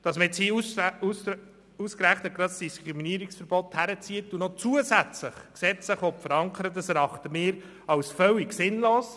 Dass man nun ausgerechnet das Diskriminierungsverbot heranzieht und zusätzlich gesetzlich verankern will, erachten wir als völlig sinnlos.